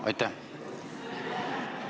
Aitäh!